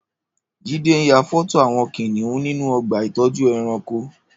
Jide n yà fọtó awọn kiniùn ninú ọ̀gbà itọjú ẹ̀rãnkó